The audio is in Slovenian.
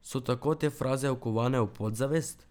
So tako te fraze vkovane v podzavest?